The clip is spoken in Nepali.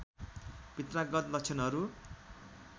पित्रागत लक्षणहरू